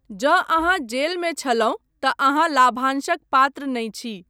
जँ अहाँ जेलमे छलहुँ तँ अहाँ लाभांशक पात्र नहि छी।